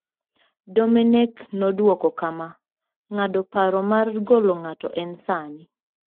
Domenech nodwoko kama: "Ng'ado paro mar golo ng'ato en sani.